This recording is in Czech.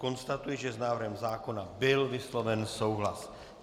Konstatuji, že s návrhem zákona byl vysloven souhlas.